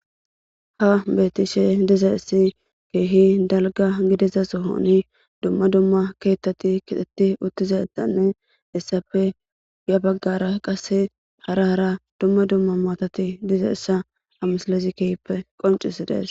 Ha beetishe diza essi keehi dalga gidiza sohoni dumma dumma keettati kixetti uttizatanne essapfe ya baggara qase hara hara dumma dumma maotati diza essa amsalezi kehppe qoncisi dees.